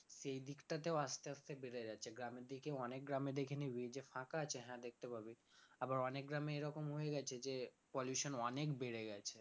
সেই দিকটাতেও আস্তে আস্তে বেড়ে যাচ্ছে গ্রামের দিকেও অনেক গ্রামে দেখে নিবি যে ফাঁকা আছে হ্যাঁ দেখতে পাবি আবার অনেক গ্রামে এরকম হয়ে গেছে যে pollution অনেক বেড়ে গেছে